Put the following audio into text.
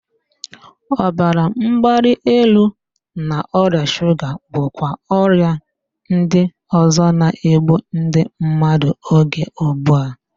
Ọbara mgbali elu na ọrịa shuga bụkwa ọrịa ndị ọzọ na-egbu ndị mmadụ oge ugbu a